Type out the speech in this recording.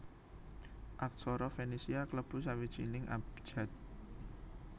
Aksara Fenisia klebu sawijining abjad